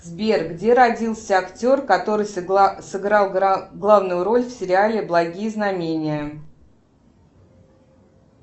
сбер где родился актер который сыграл главную роль в сериале благие знамения